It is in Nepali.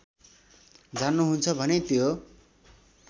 जान्नुहुन्छ भने त्यो